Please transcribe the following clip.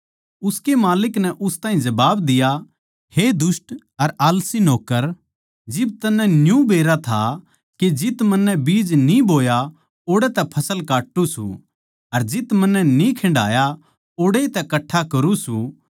उसकै माल्लिक नै उस ताहीं जबाब दिया हे दुष्ट अर आलसी नौक्कर जिब तन्नै न्यू बेरा था के जित मन्नै बीज न्ही बोया ओड़ै तै फसल काट्टू सूं अर जित मन्नै न्ही खिंडाया ओड़ै तै कट्ठा करूँ सूं